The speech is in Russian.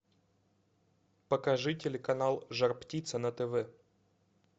покажи телеканал жар птица на тв